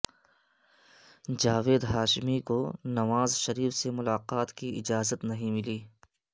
جاوید ہاشمی کو نواز شریف سے ملاقات کی اجازت نہیں ملی